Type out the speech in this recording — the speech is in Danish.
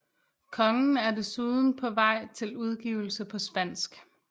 Kongen er desuden på vej til udgivelse på spansk